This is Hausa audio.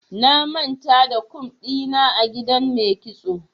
Na manta da kum ɗina a gidan mai kitso.